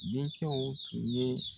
Den cɛw tun ye